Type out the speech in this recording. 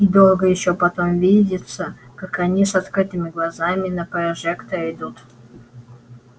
и долго ещё потом видится как они с открытыми глазами на прожектор идут